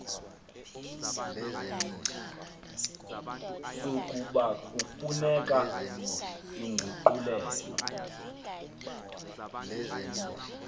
sokuba kufuneka inguqulelo